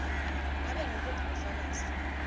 ngabe ngubuphi bufakazi